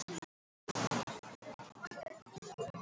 Hún byltir sér í grasinu, henni horfin værðin.